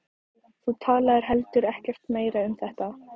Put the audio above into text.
Þú talaðir heldur ekkert meira um þetta.